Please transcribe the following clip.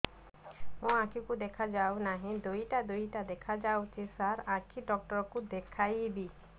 ମୋ ଆଖିକୁ ଦେଖା ଯାଉ ନାହିଁ ଦିଇଟା ଦିଇଟା ଦେଖା ଯାଉଛି ସାର୍ ଆଖି ଡକ୍ଟର କୁ ଦେଖାଇବି